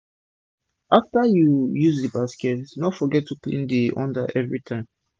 after u use d basket no forget to clean d under everi time